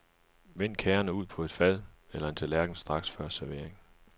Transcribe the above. Vend kagerne ud på et fad eller en tallerken straks før servering.